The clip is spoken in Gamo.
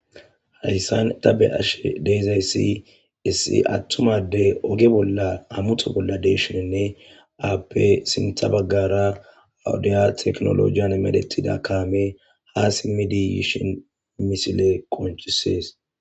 hayssan ta be7ashe deezayssi issi attum ade oge bolla hamuto bolla deshininne aappe sintha baggara hawudiya teknolojiyan medetida kaame haa simidi yishin misile konchisees